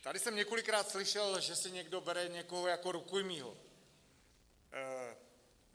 Tady jsem několikrát slyšel, že si někdo bere někoho jako rukojmí.